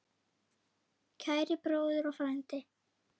Kæri bróðir og frændi.